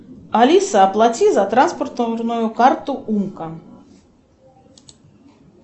алиса оплати за транспортную карту умка